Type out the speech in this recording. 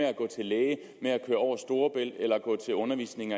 at gå til læge med at køre over storebælt eller gå til undervisning